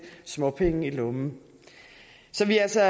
småpenge i lommen så vi er altså